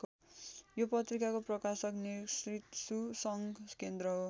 यो पत्रिकाको प्रकाशक नेकृसु सङ्घ केन्द्र हो।